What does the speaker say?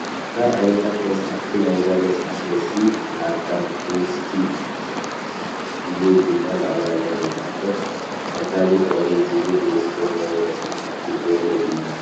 ካብ ዓይነታት መፅሓፍቲ ናይዛ መፅሓፍ ርእሲ ኣርታ ክሪስቲ ትሕት ኢሉ ድማ ብኣማርኛ ዝተፃሓፈ ቀታሊ ፍቅሪ ዝብል ርእሲ ዘለዎ መፅሓፍ ልቢ ወለድ እዩ።